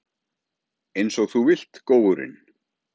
Einsog þú vilt, góurinn.